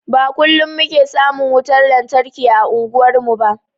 Ba kullum muke samun wutar lantarki ã unguwar mu ba.